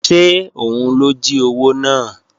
Ṣé òun ló jí owó náà?